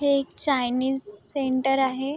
हे एक Chinese centre आहे.